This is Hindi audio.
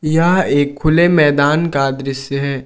यह एक खुले मैदान का दृश्य है।